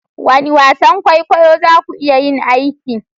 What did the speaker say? Wane wasan kwaikwayo za ku iya yin aiki?